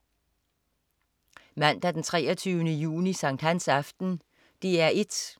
Mandag den 23. juni. Sankthansaften - DR 1: